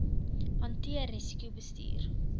hanteer risiko bestuur